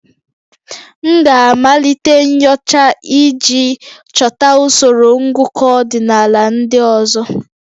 M ga-amalite nyocha iji chọta usoro ngụkọ ọdịnala ndị ọzọ